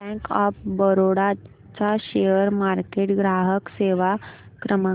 bank of Baroda चा share market ग्राहक सेवा क्रमांक